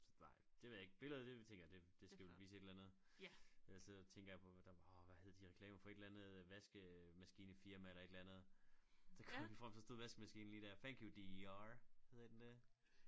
Så nej det ved jeg ikke billedet det tænker jeg det det skal vel vise et eller andet jeg sidder og tænker på hvad der orh hvad hed de reklamer for et eller andet vaskemaskinefirma eller et eller andet så kom den frem så stod vaskemaskinen lige dér thank you D E R hedder den det?s